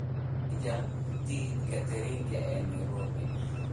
ii jar tigidhka tareenka ee Nairobi